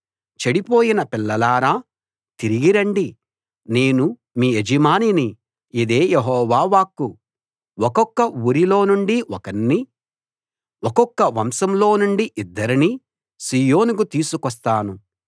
చెడిపోయిన పిల్లలారా తిరిగి రండి నేను మీ యజమానిని ఇదే యెహోవా వాక్కు ఒక్కొక్క ఊరిలోనుండి ఒకణ్ణి ఒక్కొక్క వంశం లోనుండి ఇద్దరినీ సీయోనుకు తీసుకొస్తాను